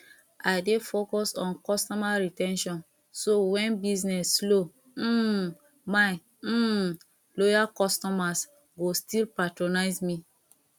i dey focus on customer re ten tion so when business slow um my um loyal customers go still patronize me